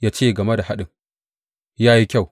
Ya ce game da haɗin, Ya yi kyau.